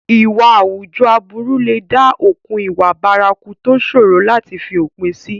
Ìwà àwùjọ aburú lè dá okùn ìwà bárakú tó ṣòro láti fi òpin sí.